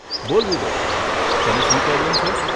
બોલ વિવેક તને શું પ્રોબ્લેમ છે?